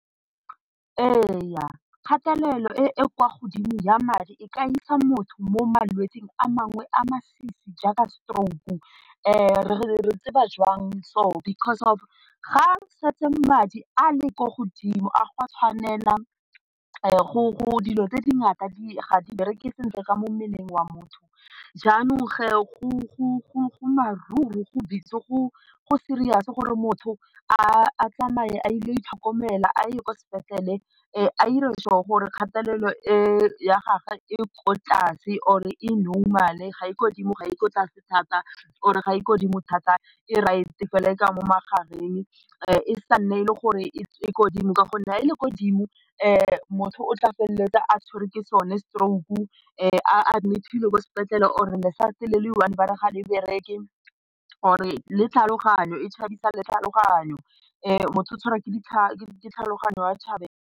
Ee kgatelelo e e kwa godimo ya madi e ka isa motho mo malwetsing a mangwe a a masisi jaaka stroke, re tseba joang so because of ga setse madi a le ko godimo a gwa tshwanela go dilo tse dingata ga di bereke sentle ka mo mmeleng wa motho, jaanong go go busy go serious gore motho a tsamaye a ile go itlhokomela a ye kwa sepetlele a dire sure gore kgatelelo e ya gagwe e ko tlase or e normal, ga e ko godimo ga e ko tlase thata or ga e ko godimo thata e right e tswa mo magareng e sa nne e le gore e ko godimo ka gonne ga e le ko godimo motho o tla feleletsa a tshwerwe ke sone stroke a admit-ilwe ko sepetlele or le-side le le one ba re ga le bereke or le tlhaloganyo e tshabisa le tlhaloganyo, motho o tshwarwa ke ditlhaloganyo .